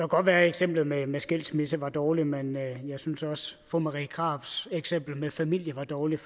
godt være at eksemplet med med skilsmisse var dårligt men jeg synes også fru marie krarups eksempel med familie var dårligt